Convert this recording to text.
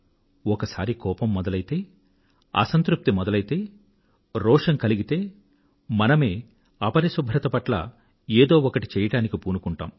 ఒకసారి కోపం మొదలైతే అసంతృప్తి మొదలైతే రోషం కలిగితే మనమే అపరిశుభ్రత పట్ల ఏదో ఒకటి చెయ్యడానికి పూనుకుంటాం